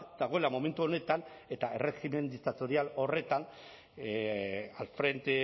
dagoela momentu honetan eta erregimen diktatorial horretan al frente